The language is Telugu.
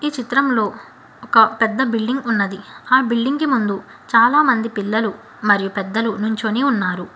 చిత్రంలో ఒక పెద్ద బిల్డింగ్ ఉన్నది ఆ బిల్డింగ్ కి ముందు చాలా మంది పిల్లలు మరియు పెద్దలు నించొని ఉన్నారు.